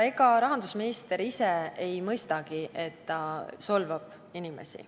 Ega rahandusminister ise mõistagi, et ta inimesi solvab.